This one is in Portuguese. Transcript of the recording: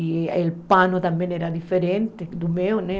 E o pano também era diferente do meu, né?